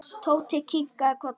Tóti kinkaði kolli.